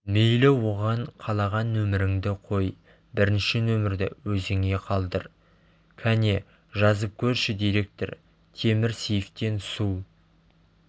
мейлі оған қалаған нөміріңді қой бірінші нөмірді өзіңе қалдыр кәне жазып көрші директор темір сейфтен су